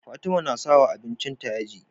Fatima na sawa abincin ta yaji